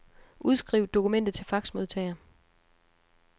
Udskriv dokumentet til faxmodtager.